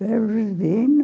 Verbo Divino.